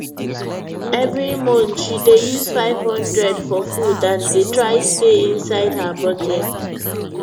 every month she dey use 500 for food and dey try stay inside her budget